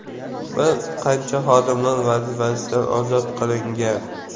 Bir qancha xodimlar vazifasidan ozod qilingan.